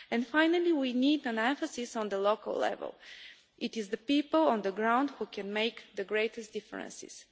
Finally, we need an emphasis on the local level. It is the people on the ground who can make the greatest differences.